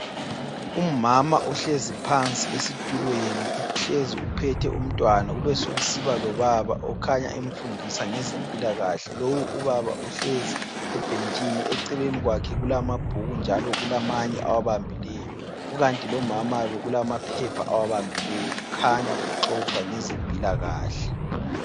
Umama uhlezi phansi esitulweni uhlezi uphethe umtwana kube sokusiba lobaba okhanya emfundisa ngezempilakahle lowu ubaba uhlezi ebhentshini , eceleni kwakhe kulamabhuku njalo kulamanye awabambileyo kukanti lomama lo kulamaphepha awabambileyo kukhanya kuxoxwa ngezempilakahle